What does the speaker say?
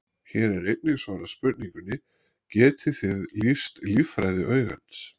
Hér er einnig svarað spurningunni: Getið þið lýst líffræði augans?